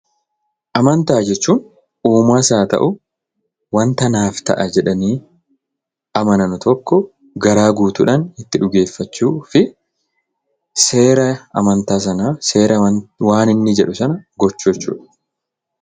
Amantaa jechuun uumaas haa ta'u ,waanta naaf ta'a jedhanii amanan tokko garaa guutuudhaan itti dhugeeffachuu fi seera amantaa sanaa, waan inni jedhu sana gochuu jechuudha.